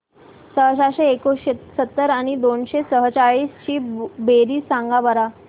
सहाशे एकोणसत्तर आणि दोनशे सेहचाळीस ची बेरीज सांगा बरं